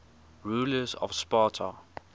rulers of sparta